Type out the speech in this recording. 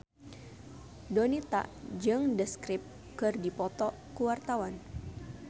Donita jeung The Script keur dipoto ku wartawan